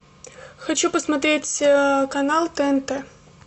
хочу посмотреть канал тнт